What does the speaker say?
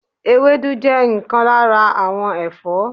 ewédú je nkan lara awon Ẹfọ́